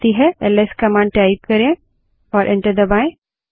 LS command type करें और enter दबायें